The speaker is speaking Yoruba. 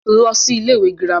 lọ sí ilé ìwé girama